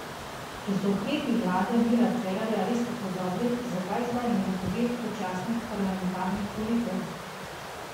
Če so ukrepi vlade Mira Cerarja res tako dobri, zakaj zdaj ne napove predčasnih parlamentarnih volitev?